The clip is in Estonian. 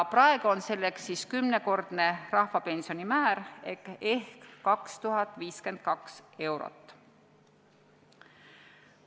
Praegu on selleks kümnekordne rahvapensioni määr ehk 2052 eurot.